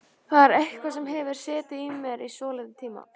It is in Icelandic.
Þetta er eitthvað sem hefur setið í mér í svolítinn tíma.